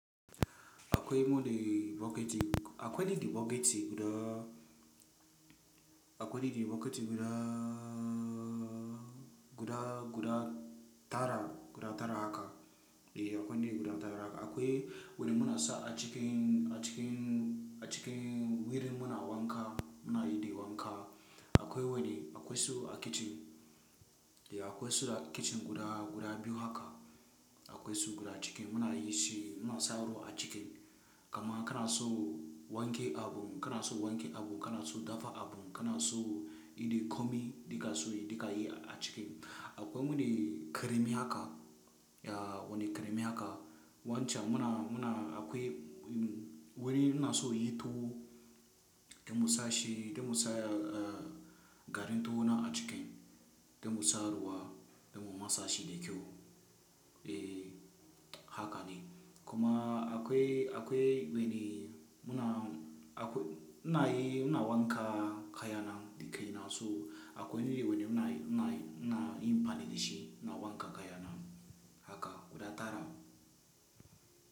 Akwai wani bucket, akwai bucket guda, akwai bucket guda, guda, guda tara, guda tara haka. Eh akwai guda tara haka. Akwai wanda muna sa a cikin, a cikin, a cikin wuri muna wanka muna yi wanka. Akwai wani, akwai su a kicin. Eh akwai su a kicin guda, guda biyu haka. Akwai su guda cikin muna yi shi muna sa ruwa a ciki. Kaman kana so wanke abu, kana so wanke abu, kana so dafa abu, kana so yi ɗa komai da kake so yi duka yi a ciki. Akwai wani keremi haka, ya wani keremi haka. Wancan muna, muna akwai wuri muna so yi tuwo, dai mu sa shi dai mu sa garin tuwo na a ciki dai mu sa ruwa dan mu matsa shi da kyau. Eh haka ne. Kuma akwai, akwai wani muna, akwai muna yi, muna wanka kayana da kaina so akwai wani wuri muna, muna, muna yin amfaninl da shi muna wanke kayana. Haka guda tara.